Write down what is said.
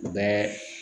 U bɛɛ